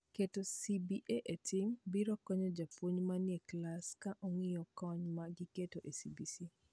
Keto CBA e tim biro konyo jopuonj mani e klas ka ong'io kony ma magiketo e CBC.